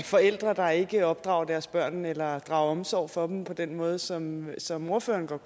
forældre der ikke opdrager deres børn eller drager omsorg for dem på den måde som som ordføreren